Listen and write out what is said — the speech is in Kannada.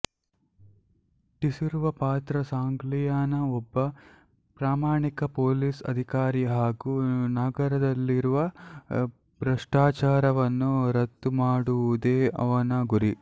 ಟಿಸಿರುವ ಪಾತ್ರ ಸಾಂಗ್ಲಿಯಾನ ಒಬ್ಬ ಪ್ರಾಮಾಣಿಕ ಪೊಲೀಸ್ ಅಧಿಕಾರಿ ಹಾಗು ನಗರದಲ್ಲಿರುವ ಭ್ರಷ್ಟಾಚಾರವನ್ನು ರದ್ದು ಮಾಡುವುದೇ ಅವನ ಗುರಿ